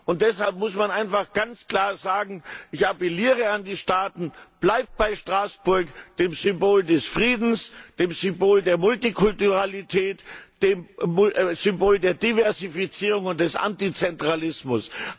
Und deshalb muss man einfach ganz klar sagen Ich appelliere an die Staaten, bleibt bei Straßburg, dem Symbol des Friedens, dem Symbol der Multikulturalität, dem Symbol der Diversifizierung und des Antizentralismus!